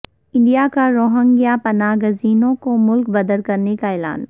India کا Rohingya پناہ گزینوں کو ملک بدر کرنے کا اعلان